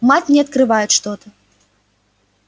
мать не открывает что-то